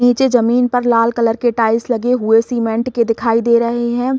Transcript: नीचे जमीन पर लाल कलर के टाइल्स लगे हुए सीमेंट के दिखाई दे रहे हैं।